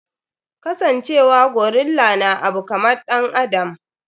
Ka san cewa gorilla na abu kaman ɗan adam.